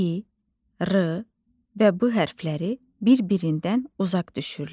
i, r, və b hərfləri bir-birindən uzaq düşürlər.